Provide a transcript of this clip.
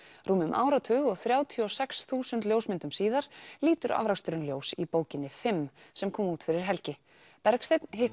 rúmum áratug og þrjátíu og sex þúsund ljósmyndum síðar lítur afraksturinn ljós í bókinni fimm sem kom út fyrir helgi Bergsteinn hitti